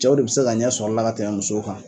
Cɛw de be se ka ɲɛ sɔr'a la ka tɛmɛ musow kan.